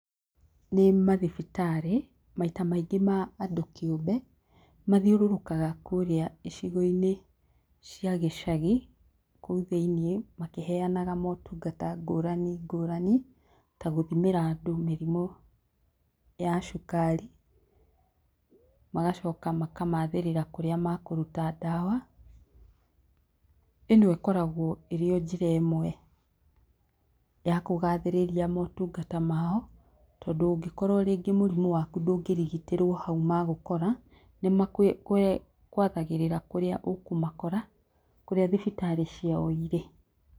Nĩ mathibitarĩ maita maingĩ ma andũ kĩũmbe mathiũrũrũkaga kũrĩa icigo-inĩ cia gĩcagi kũu thĩinĩ makĩheanaga motungata ngũrani ngũrani ta gũthimĩra andũ mĩrimũ ya cukari magacoka makamathĩrĩra kũrĩa makũruta dawa, ĩno ĩkoragwo ĩrĩ o njĩra ĩmwe ya kũgathĩrĩria motungata mao tondũ ũngĩkorwo rĩngĩ mũrimũ waku ndũngĩrigitĩrwo hau magũkora nĩ magwathagĩrĩra kũrĩa ũkũmakora kũrĩa thibitarĩ ciao irĩ.